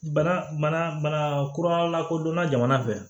Bana mana kuralakodɔnna jamana fɛ